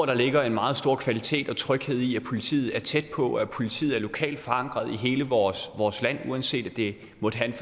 der ligger en meget stor kvalitet og tryghed i at politiet er tæt på at politiet er lokalt forankret i hele vores vores land uanset om det